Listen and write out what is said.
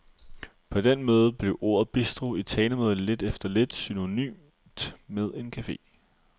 På den måde blev ordet bistro i talemåde lidt efter lidt synonymt med en cafe.